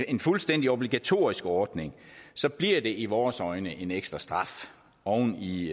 en fuldstændig obligatorisk ordning bliver det i vores øjne en ekstra straf oven i